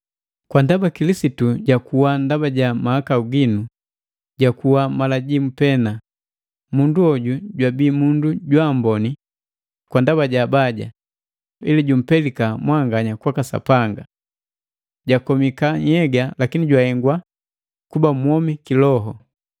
Kwa ndaba Kilisitu jakuwa ndaba ja mahakau ginu, jakuwa mala jimu pena, mundu hoju jwabii mundu jwaamboni kwa ndaba ja abaja, ili jumpelika mwanganya kwaka Sapanga. Jakomika nhyega lakini jahengwa kuba mwomi kiloho: